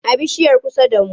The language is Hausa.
A bishiyar kusa da mu.